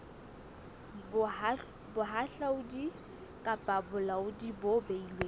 bohahlaudi kapa bolaodi bo beilweng